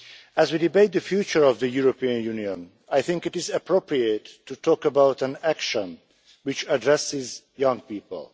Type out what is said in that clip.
As we debate the future of the European Union, I think it is appropriate to talk about an action which addresses young people.